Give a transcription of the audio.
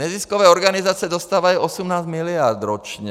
Neziskové organizace dostávají 18 mld. ročně.